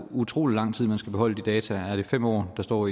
utrolig lang tid man skal beholde de data er det fem år der står